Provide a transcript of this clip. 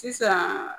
Sisan